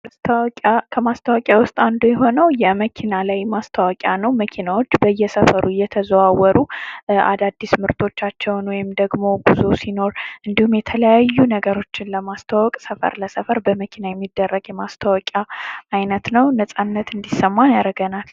ማስታወቂያ ከማስታወቂያ ዉስጥ አንዱ የሆነው የመኪና ላይ ማስታወቂያ ነው። መኪናዎች በየሰፈሩ የተዛወሩ አዳዲስ ምርቶቻቸውን ወይም ደግሞ ጉዞ ሲኖር እንዲሁም የተለያዩ ነገሮችን ለማስተዋወቅ ሰፈር ለሰፈር በመኪና ሚደረግ የማስታወቂያ አይነት ነው። ነፃነት እንዲሰማን ያደርጋል።